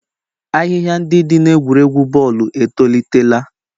Ahịhịa ndị dị n'egwuregwu bọọlụ etolitela.